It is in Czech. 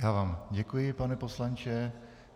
Já vám děkuji, pane poslanče.